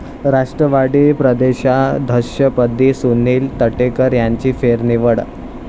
राष्ट्रवादी प्रदेशाध्यक्षपदी सुनिल तटकरे यांची फेरनिवड